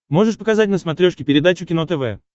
можешь показать на смотрешке передачу кино тв